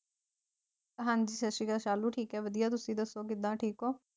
ਹਾਂਜੀ ਸਤਿ ਸ਼੍ਰੀ ਅਕਾਲ ਸ਼ਾਲੂ ਠੀਕ ਆ ਵਧੀਆ ਤੁਸੀ ਦੱਸੋ ਕਿਦਾਂ ਠੀਕ